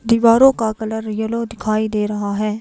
दीवारों का colour yellow दिखाई दे रहा है।